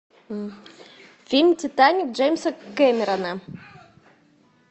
фильм титаник джеймса кэмерона